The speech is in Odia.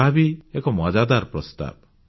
ତାହା ବି ଏକ ମଜାଦାର ପ୍ରସ୍ତାବ